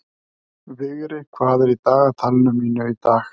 Vigri, hvað er í dagatalinu mínu í dag?